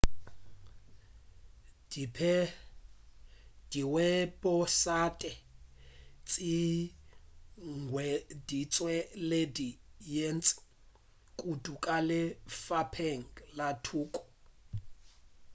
diweposaete tše di hweditše šedi ye ntši kudu ka lefapeng la thuto